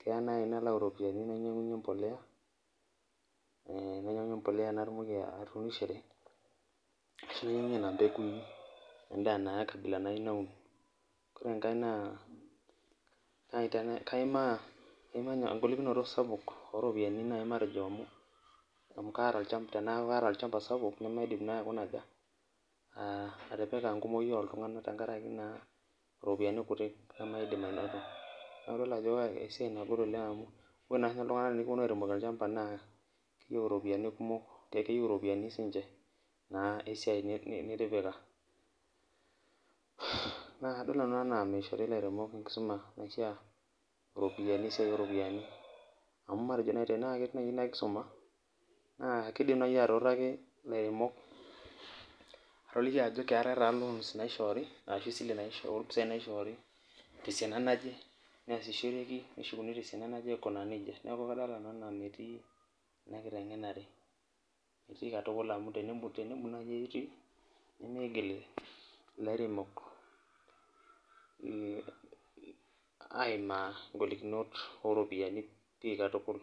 kelo nai nalau ropiyani nainyanguyie embolea natumoki atuunishore arashu nona pekui kablabnaibnaun ore enkae na kaimaa engolikino sapuk oropiyani nai amu teneaku kaata olchamba sapuk namaidim naabaikuna aja atipika ltunganak kumok tenkaraki ropiyani kutik namaidim ainoto neaku kadolta ajo esiai sapuk ena ore na sinche ltunganak tenikuponu aremoki olchamba na keyieu ropiyani kumok esiai na nitipika, na kadolta nanu nanu ana mishori lairemok enkisuma esiai oropiyiani amu matejo nai tanaa ketii nai inakisuma na kidim nai atuutaki lairemok ajoki keetae ta loan naishori ashi esiile esile ompisai naishori tesiana naje neshukuni tesiana najebaikunaa nejia neaku kadolta nanu anaa metii inakitengenare amu tenemut ani etii nemigil lairemok aimaa ngolikinot oropiyiani katukul.